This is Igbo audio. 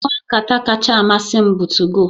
Ngwa nkata kacha amasị m bụ 2go